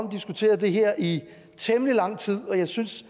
diskuteret det her i temmelig lang tid og jeg synes